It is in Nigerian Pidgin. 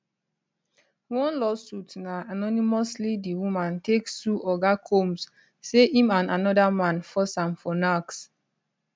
one lawsuit na anonymously the woman take sue oga combs say im and anoda man force am for nacks